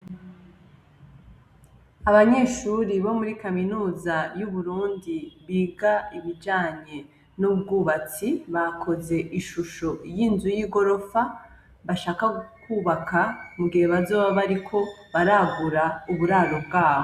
Abanyeshuri bo muri kaminuza y'uburundi biga ibijanye n'ubwubatsi bakoze ishusho y'inzu y'i gorofa bashaka gukwubaka mu gihe bazoba bariko baravura uburaro bwabo.